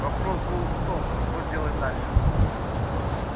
вопрос был в том что делать дальше